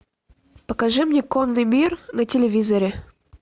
покажи мне конный мир на телевизоре